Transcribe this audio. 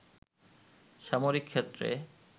সামরিক ক্ষেত্রে